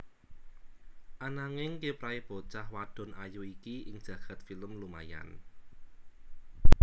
Ananging kiprahé bocah wadon ayu iki ing jagad film lumayan